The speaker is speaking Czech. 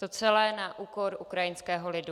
To celé na úkor ukrajinského lidu.